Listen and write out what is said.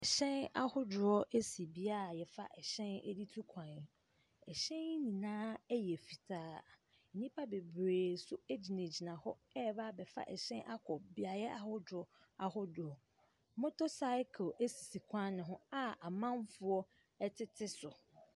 ℇhyɛn ahodoɔ si beaeɛ a yɛfa hyɛn de tu kwan no. ℇhyɛn yi nyina yɛ fitaa. Nnipa bebree nso gyinagyina hɔ rebɛ abɛfa ɛhyɛn akɔ beaeɛ ahodoɔ ahodoɔ. Motor cycle sisi kwan no ho a amanfoɔ tete so.